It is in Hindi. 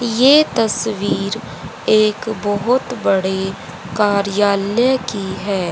ये तस्वीर एक बहुत बड़े कार्यालय की है।